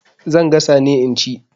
Zan gasa ne in ci.